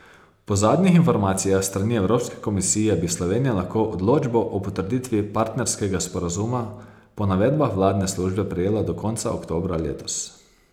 Po zadnjih informacijah s strani Evropske komisije bi Slovenija lahko odločbo o potrditvi partnerskega sporazuma po navedbah vladne službe prejela do konca oktobra letos.